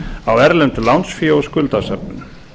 á erlendu lánsfé og skuldasöfnun